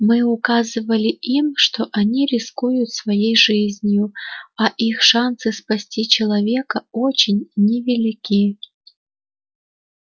мы указывали им что они рискуют своей жизнью а их шансы спасти человека очень невелики